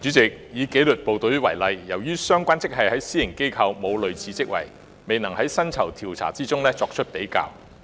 主席，以紀律部隊為例，由於私營機構並無相類職位，故未能在薪酬調查中作出比較。